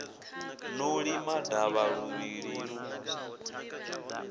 no lima davha luvhiḓi lu